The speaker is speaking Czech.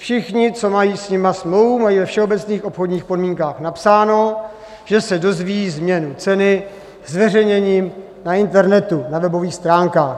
Všichni, co mají s nimi smlouvu, mají ve všeobecných obchodních podmínkách napsáno, že se dozví změnu ceny zveřejněním na internetu, na webových stránkách.